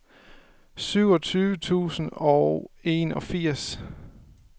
syvogtyve tusind og enogfirs